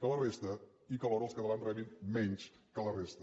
que la resta i que alhora els catalans rebin menys que la resta